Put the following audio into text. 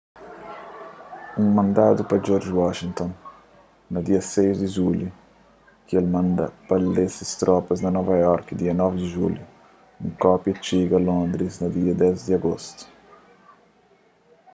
un mandadu pa george washington na dia 6 di julhu ki el manda lê pa se tropas na nova iorki dia 9 di julhu un kópia txiga londris na dia 10 di agostu